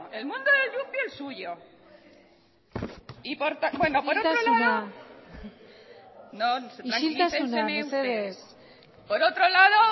el mundo de yupi el suyo bueno por otro lado isiltasuna isiltasuna mesedez tranquilícenseme ustedes por otro lado